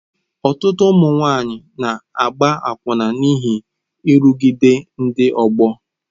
Ọtụtụ ụmụ nwanyị na-agba akwụna n'ihi nrụgide ndị ọgbọ.